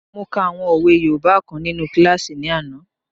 Mo ka àwọn òwe yoòbá kan nínu kílásì ní àná